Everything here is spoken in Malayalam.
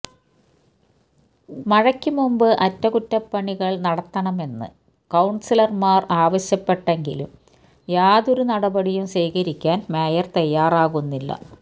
മഴയ്ക്ക് മുമ്പ് അറ്റകുറ്റപ്പണികള് നടത്തണമെന്ന് കൌണ്സിലര്മാര് ആവശ്യപ്പെട്ടെങ്കിലും യാതൊരു നടപടിയും സ്വീകരിക്കാന് മേയര് തയ്യാറാകുന്നില്ല